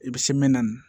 I bɛ se mɛ